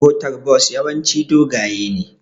motar Bus yawanci doge ne